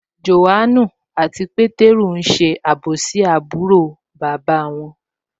John àti Peter n ṣe àbòsí àbúrò bàbá wọn